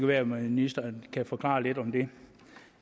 være at ministeren kan forklare lidt om det